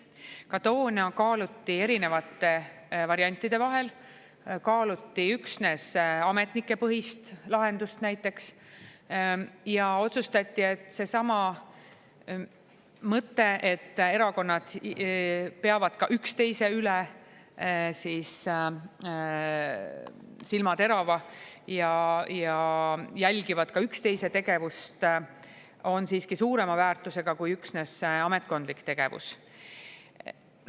Ka toona kaaluti erinevate variantide vahel, näiteks kaaluti üksnes ametnikepõhist lahendust, aga otsustati, et seesama mõte, et erakonnad hoiavad üksteisel teravalt silma peal ja jälgivad üksteise tegevust, on siiski suurema väärtusega kui üksnes ametkondlik tegevus.